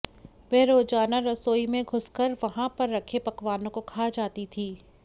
वह रोजाना रसोई में घुसकर वहां पर रखे पकवानों को खा जाती थी